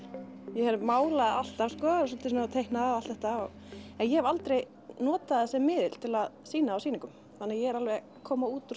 ég málaði alltaf sko svolítið svona að teikna og allt þetta og en ég hef aldrei notað það sem miðil til að sýna á sýningum þannig að ég er alveg að koma út úr